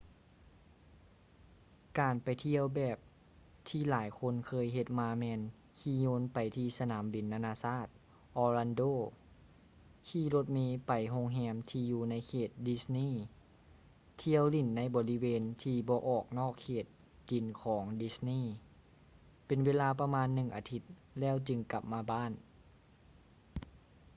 ການໄປທ່ຽວແບບທີ່ຫຼາຍຄົນເຄີຍເຮັດມາແມ່ນຂີ່ຍົນໄປທີ່ສະໜາມບິນນາໆຊາດ orlando ຂີ່ລົດເມໄປໂຮງແຮມທີ່ຢູ່ໃນເຂດ disney ທ່ຽວຫຼິ້ນໃນບໍລິເວນທີ່ບໍ່ອອກນອກເຂດດິນຂອງdisney ເປັນເວລາປະມານໜຶ່ງອາທິດ ແລ້ວຈຶ່ງກັບມາບ້ານ